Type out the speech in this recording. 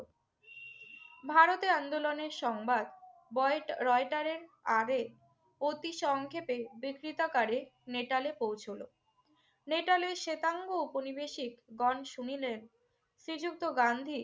ভারতে আন্দোলনের সংবাদ বয়েট রয়টারের আগে অতি সংক্ষেপে বিকৃতাকারে নেটালে পৌঁছুল। নেটালে শেতাঙ্গ ঔপনিবেশিকগণ শুনিলেন শ্রীযুক্ত গান্ধী